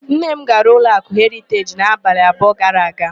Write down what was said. Nne m gara ụlọakụ Heriteji n'abalị abụọ gara aga.